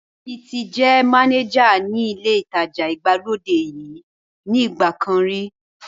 Níyì ti jẹ́ mánéjà ní ilé ìtajà ìgbàlódé yìí ní ìgbà kan rí